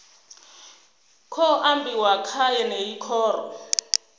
khou ambiwa kha yeneyi khoro